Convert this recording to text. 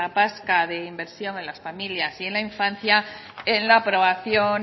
vasca de inversión en las familias y en la infancia en la aprobación